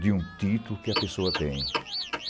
de um título que a pessoa tem.